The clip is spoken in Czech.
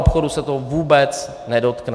Maloobchodu se to vůbec nedotkne.